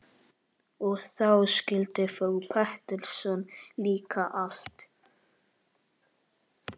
Og þá skildi frú Pettersson líka allt.